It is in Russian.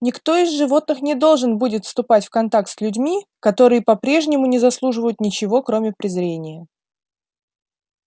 никто из животных не должен будет вступать в контакт с людьми которые по-прежнему не заслуживают ничего кроме презрения